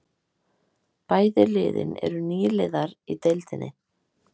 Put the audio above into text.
Bæði liðin eru nýliðar í deildinni